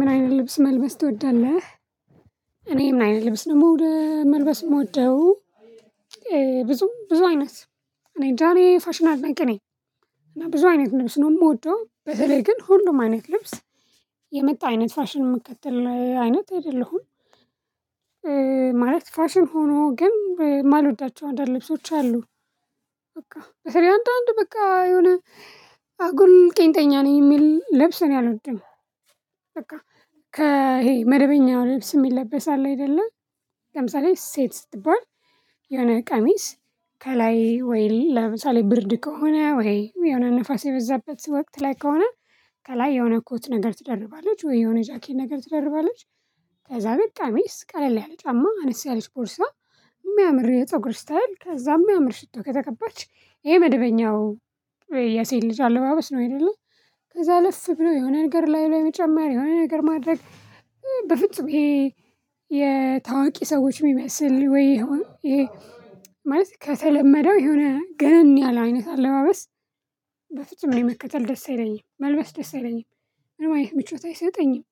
"ምን አይነት ልብስ መልበስ ትወዳለህ?" እኔ ምን አይነት ልብስ መውደ መልበስ የምወደው ብዙ ብዙ አይነት እኔእንጃ እኔ የፋሽን አድናቂ ነኝ። እና ብዙ አይነት ልብስ ነው ምወደው። በተለይ ግን ሁሉም አይነት ልብስ የመጣ አይነት ፋሽን የምከተል አይነት አይደለሁም እ ማለት ፋሽን ሆኖ ግን ማልወዳቸው አንዳንድ ልብሶች አሉ። በቃ አረ አንዳንድ በቃ የሆነ አጉል ቄንጠኛ ነኝ የሚል ልብስ እኔ አልወድም። በቃ ከ ይሄ መደበኛ ልብስ የሚለበስ አለ አይደለ ለምሳሌ ሴት ስትባል የሆነ ቀሚስ ከላይ ወይ ለምሳሌ ብርድ ከሆነ ወይ የሆነ ንፋስ የበዛበት ወቅት ላይ ከሆነ ከላይ የሆነ ኮት ነገር ትደርባለች ወይ የሆነ ጃኬን ነገር ትደርባለች ከዛ ግን ቀሚስ ቀለል ያለ ጫማ አነስ ያለች ቦርሳ የሚያምር የፀጉር እስታይል ከዛ የሚያምር ሽቶ ከተቀባች ይሄ መደበኛው የሴት ልጅ አለባበስ ነው አይደለ ከዛ አለፍ ብሎ የሆነ ነገር ላዩ ላይ መጨመር የሆነ ነገር ማድረግ ኢሄ በፍጹም ይሄ የታዋቂ ሰዎች የሚመስል ወይ ይሄ ማለት ከተለመደው የሆነ ገነን ያለ አይነት አለባበስ በፍጹም እኔ መከተል ደስ አይለኝም። መልበስ ደስ አይለኝም ምንም አይነት ምቾት አይሰጠኝም።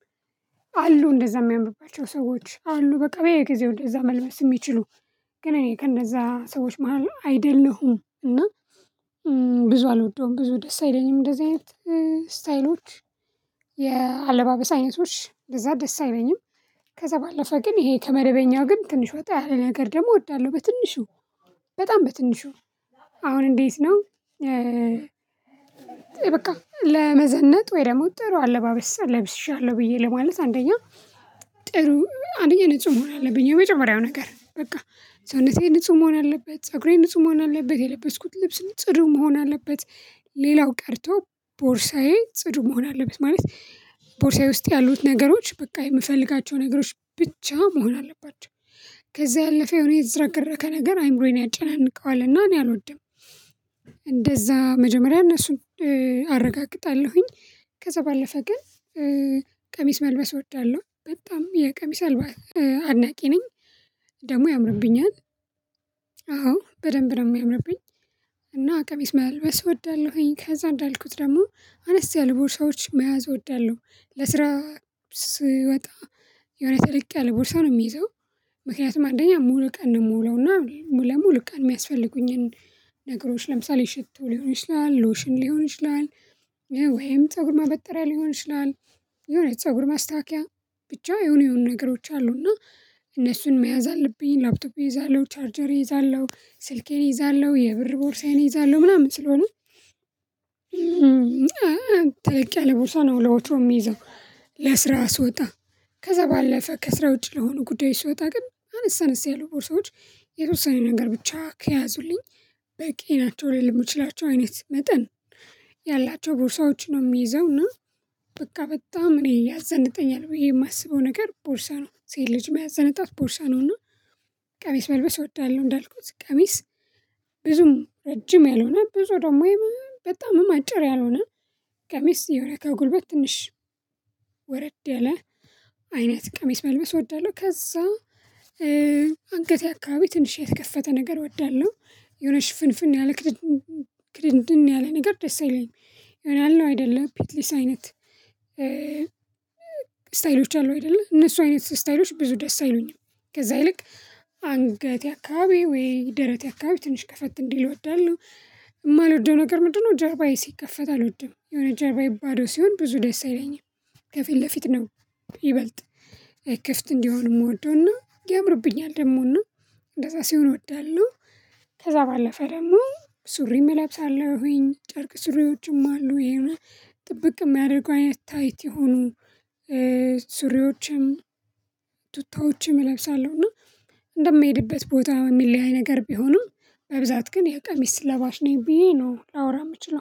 አሉ እንደዛ የሚያምባቸው ሰዎች አሉ በቃ በየጊዜው እዛ መልበስ የሚችሉ ግን እኔ ከእንደዛ ሰዎች መሃል አይደለሁም እና ብዙ አልወደውም ብዙ ደስ አይለኝም እንደዚህ አይነት ስታይሎች የአለባበስ አይነቶች እንደዛ ደስ አይለኝም ከዛ ባለፈ ግን ይሄ ከመደበኛው ግን ትንሽ ወጣ ያለ ነገር ደግሞ እወዳለሁ በትንሹ በጣም በትንሹ አሁን እንዴት ነው እ በቃ ለመዘነጥ ወይ ደግሞ ጥሩ አለባበስ ለብሻለሁ ብዬ ለማለት አንደኛ ጥሩ አንደኛ ንጹህ መሆን አለብኝ የመጀመሪያው ነገር በቃ ሰውነቴ ንጹህ መሆን አለበት ፀጉሬን ንጹህ መሆን አለበት የለበስኩት ልብስ ንጹ ጽዱ መሆን አለበት ሌላው ቀርቶ ቦርሳዬ ጽዱ መሆን አለበት ማለት ቦርሳዬ ውስጥ ያሉት ነገሮች በቃ የምፈልጋቸው ነገሮች ብቻ መሆን አለባቸው። ከዛ ያለፈ የሆነ የተዝረከረከ ነገር አይምሮዬን ያጨናንቀዋልና እኔ አልወድም እንደዛ መጀመሪያ እነሱን አረጋግጣለሁ ከዛ ባለፈ ግን ቀሚስ መልበስ እወዳለሁ በጣም የቀሚስ አልባ አድናቂ ነኝ ደግሞ ያምርብኛል አዎ በደንብ ደግሞ የሚያምርብኝ እና ቀሚስ መልበስ እወዳለሁኝ ከዛ እንዳልኩት ደግሞ አነስ ያሉ ቦርሳዎች መያዝ እወዳለሁ ለስራ ስወጣ የሆነ ተለቅ ያለ ቦርሳ ነው የምይዘው ምክንያቱም አንደኛ ሙሉ ቀን ምውለውና ልክ የሚያስፈልጉኝን ነገሮች ለምሳሌ ሽቶ ሊሆን ይችላል ሎሽን ሊሆን ይችላል ፀጉር ማበጠሪያ ሊሆን ይችላል የሆነ ፀጉር ማስተካከያ ብቻ የሆኑ የሆኑ ነገሮች አሉና እነሱን መያዝ አለብኝ ላፕቶፕ እይዛለሁ ቻርጀር እይዛለሁ ስልኬን እይዛለሁ የብር ቦርሳዬን እይዛለሁ ምናምን ስለሆነ ተለቅ ያለ ቦርሳ ነው ለወትሮም ምይዘው ለስራ ስወጣ ከዛ ባለፈ ከስራ ውጪ ለሆነ ጉዳይ ስወጣ ግን አነሰ አነስ ያሉ ቦርሳዎች የተወሰነ ነገር ብቻ ከያዙልኝ በቂ ናቸው ልል የምችላቸው አይነት መጠን ያላቸው ቦርሳዎች ነው የሚይዘው እና በቃ በጣም እኔ ያዘንጠኛል ብዬ የማስበው ነገር ቦርሳ ነው ሴት ልጅ ሚያዘንጣት ቦርሳ ነውና ቀሚስ መልበስ እወዳለሁ እንዳልኩት ቀሚስ ብዙም ረጅም ያልሆነ ብዙ ደግሞ በጣምም አጭር ያልሆነ ቀሚስ የሆነ ከጉልበት ትንሽ ወረድ ያለ አይነት ቀሚስ መልበስ እወዳለሁ ከዛ አንገቴ አካባቢ ትንሽ የተከፈተ ነገር እወዳለሁ የሆነሽ ሽፍንፍን ያለ ክድንድን ያለ ነገር ደስ አይለኝም። የሆነ አለ አይደለም ፒትሊስ አይነት ስታይሎች አሉ አይደለ እነሱ አይነት ስታይሎች ብዙ ደስ አይሉኝም ከዛ ይልቅ አንገቴ አከባቢ ወይ ደረቴ አከባቢ ትንሽ ከፈት እንዲል እወዳለሁ። የማልወደው ነገር ምንድነው ጀርባዬ ሲከፈት አልወድም። የሆነ ጀርባዬ ባዶ ሲሆን ብዙ ደስ አይለኝም። ከፊት ለፊት ነው ይበልጥ ክፍት እንዲሆን የምወደውና ያምርብኛል ደግሞና እንደዛ ሲሆን እወዳለሁ ከዛ ባለፈ ደግሞ ሱሪም እለብሳለሁኝ ጨርቅ ሱሪዎችም አሉ ይሄንን ጥብቅ የሚያደርጉ አይነት ታይት የሆኑ ሱሪዎችም ቱታዎችም እለብሳለሁ እና እንደምሄድበት ቦታ የሚለያይ ነገር ቢሆንም በብዛት ግን የቀሚስ ስለባሽ ነው ብዬ ነው ላወራ የምችለው